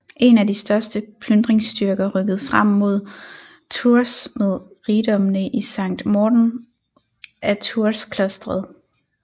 En af de største plyndringsstyrker rykkede frem mod Tours med rigdommene i Sankt Morten af Tours klosteret